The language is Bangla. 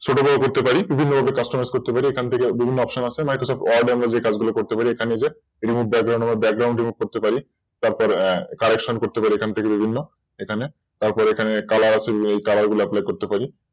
ছোট বড় করতে পারি বিভিন্ন ভাবে Customize করতে পারি বিভিন্ন Option আছে Microsolf word অনুযায়ী আমরা যে কাজগুলো করতে পারি এখানে বিভিন্ন যে Background এখানে আমরা Background remove করতে পারি তারপর Correction করতে পারি এখান থেকে বিভিন্ন এখানে তারপরে এখানে Colour আছে বিভিন্ন Apply করতে পারি